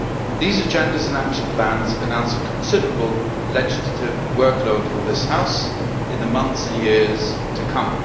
These agendas and action plans signal a considerable legislative workload for this House in the months and years to come.